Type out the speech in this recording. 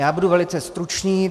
Já budu velice stručný.